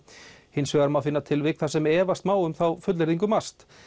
hins vegar má finna tilvik þar sem efast má um þá fullyrðingu MAST